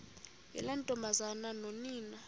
yiloo ntombazana nonina